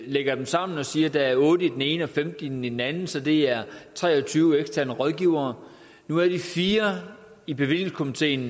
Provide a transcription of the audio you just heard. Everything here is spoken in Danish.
lægger dem sammen og siger der er otte i den ene og femten i den anden så det er tre og tyve eksterne rådgivere nu er de fire i bevillingskomiteen